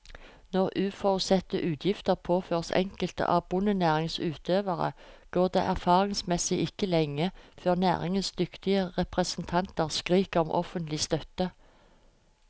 Når uforutsette utgifter påføres enkelte av bondenæringens utøvere, går det erfaringsmessig ikke lenge før næringens dyktige representanter skriker om offentlig støtte.